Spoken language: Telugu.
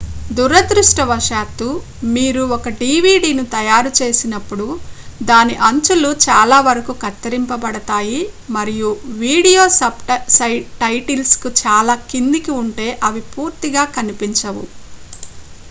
దురదృష్టవశాత్తు మీరు ఒక dvdను తయారుచేసినప్పుడు దాని అంచులు చాలావరకు కత్తిరించబడతాయి మరియు వీడియో సబ్‌టైటిల్స్ చాలా కిందకు ఉంటే అవి పూర్తిగా కనిపించవు